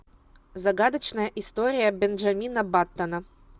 загадочная история бенджамина баттона